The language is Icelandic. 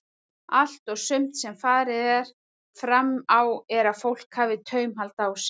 Allt og sumt sem farið er fram á er að fólk hafi taumhald á sér.